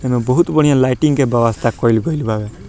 ओय मे बहुत बढ़िया लाइटिंग के व्यवस्था कईल गईल बा।